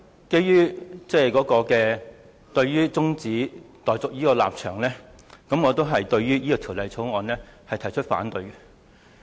基於我對中止待續議案的立場，我對《條例草案》同樣表示反對。